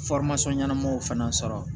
ɲɛnamaw fana sɔrɔ